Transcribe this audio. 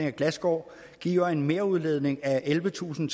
af glasskår giver en merudledning af ellevetusinde